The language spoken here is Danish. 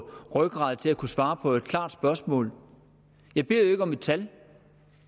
rygrad til at kunne svare på et klart spørgsmål jeg beder jo ikke om et tal